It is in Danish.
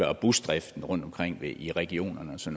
og busdriften rundtomkring i regionerne så